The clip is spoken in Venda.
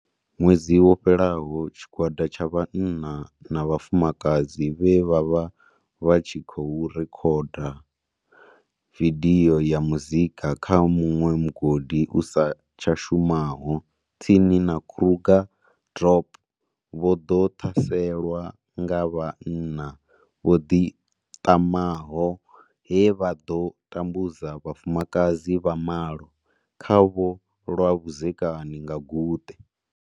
Ṅwedzi wo fhelaho, tshigwada tsha vhanna na vhafumakadzi vhe vha vha vha tshi khou rekhoda vidio ya muzika kha muṅwe mugodi usa tsha shumaho tsini na Krugersdorp vho ḓo ṱhaselwa nga vhanna vho ḓiṱamaho he vha ḓo tambudza vhafumakadzi vha malo khavho lwa vhudzekani nga guṱe.